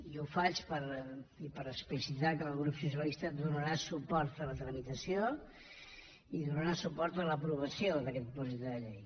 i ho faig per explicitar que el grup socialista donarà suport a la tramitació i donarà suport a l’aprovació d’aquest projecte de llei